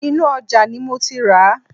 Inú ojà ni mo ti ràá